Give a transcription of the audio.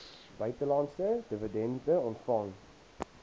buitelandse dividende ontvang